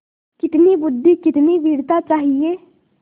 कितनी बुद्वि कितनी वीरता चाहिए